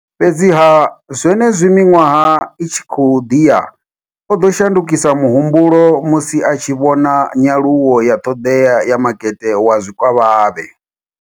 Fhedziha, zwenezwi miṅwaha i tshi khou ḓi ya, o ḓo shandukisa muhumbulo musi a tshi vhona nyaluwo ya ṱhoḓea ya makete wa zwikavhavhe.